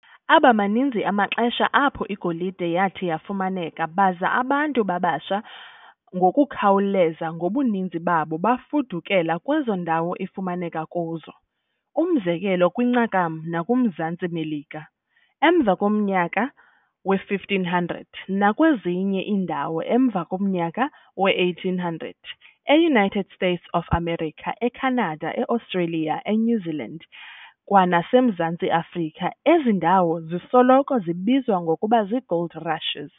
Abamaninzi amaxesha apho igolide yathi yafumaneka baza abantu babasha ngokukhawuleza ngobuninzi babo bafudukela kwezo ndawo ifumaneka kuzo, umzekelo, kwincakam nakumZantsi Melika emva komnyaka we-1500, nakwezinye iindawo emva komnyaka we-1800, e-United States of America, e-Canada, e-Australia, e-New Zealand kwanaseMzantsi Afrika. Ezi ziindawo zisoloko zibizwa ngokuba zii-Gold Rushes.